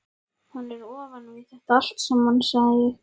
Hann er ofan við þetta allt saman, sagði ég.